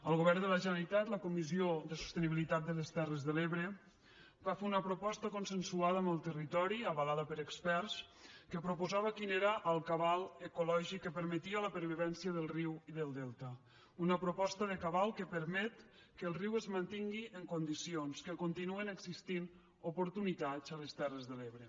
el govern de la generalitat la comissió per a la sostenibilitat de les terres de l’ebre va fer una proposta consensuada amb el territori avalada per experts que proposava quin era el cabal ecològic que permetia la pervivència del riu i del delta una proposta de cabal que permet que el riu es mantingui en condicions que continuïn existint oportunitats a les terres de l’ebre